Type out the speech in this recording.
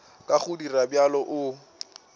ka go dira bjalo o